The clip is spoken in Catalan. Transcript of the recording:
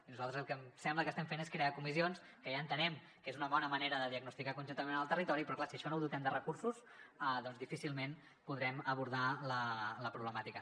i nosaltres el que em sembla que estem fent és crear comissions que ja entenem que és una bona manera de diagnosticar conjuntament amb el territori però clar si això no ho dotem de recursos doncs difícilment podrem abordar la problemàtica